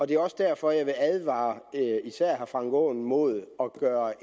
det er også derfor jeg vil advare især herre frank aaen mod at gøre